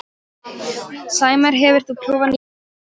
Sæmar, hefur þú prófað nýja leikinn?